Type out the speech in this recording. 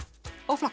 og flokka